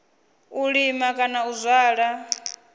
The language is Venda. u lima kana u zwala